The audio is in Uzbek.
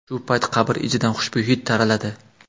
Shu paytda qabr ichidan xushbo‘y hid taraladi.